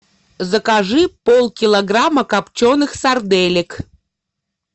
закажи пол килограмма копченых сарделек